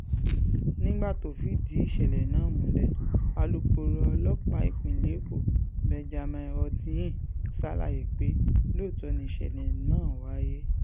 nígbà tó ń fìdí ìṣẹ̀lẹ̀ náà múlẹ̀ alūkkoro ọlọ́pàá ìpínlẹ̀ èkó benjamin hondyin ṣàlàyé pé lóòótọ́ ni ìṣẹ̀lẹ̀ náà wáyé